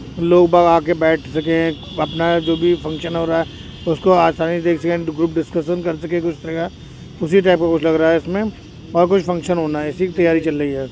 लोग बाग आके बैठ सके। अपना जो भी फंक्शन हो रहा है उसको आसानी देख सके एण्ड ग्रुप डिस्कशन कर सके उस तरह का उसी टाइप का कुछ लग रहा है इसमें और कुछ फंक्शन होना है इसी की तैयारी चल रही है।